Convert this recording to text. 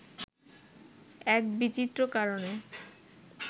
এক বিচিত্র কারণে